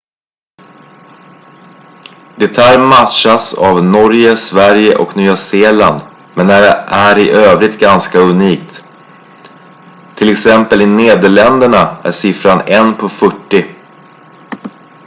det här matchas av norge sverige och nya zeeland men är i övrigt ganska unikt t.ex. i nederländerna är siffran en på fyrtio